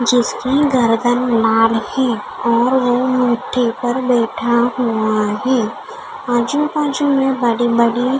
जिसके गर्दन है और वो मिट्टी पर बैठा हुआ है आजु-बाजु में बड़ी बड़ी--